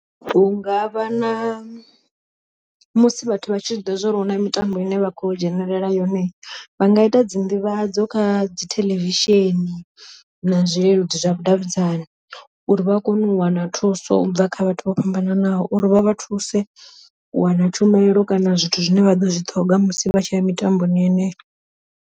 Hunga vha na musi vhathu vha tshi ḓivha zwori huna mitambo ine vha kho dzhenelela yone, vha nga ita dzi nḓivhadzo kha dzi theḽevishini na zwileludzi zwavhudavhidzani. Uri vha kone u wana thuso u bva kha vhathu vho fhambananaho, uri vha vha thuse u wana tshumelo kana zwithu zwine vha ḓo zwi ṱhoga musi vha tshi ya mitamboni yeneyo.